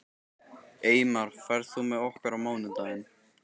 Eymar, ferð þú með okkur á mánudaginn?